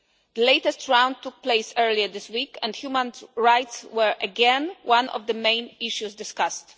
The latest round took place earlier this week and human rights were again one of the main issues discussed.